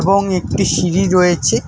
এবং একটি সিঁড়ি রয়েছে।